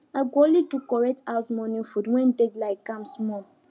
i go only do correct house morning food when deadline calm small